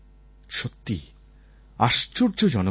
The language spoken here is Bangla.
সত্যিই আশ্চর্যজনক ছেলে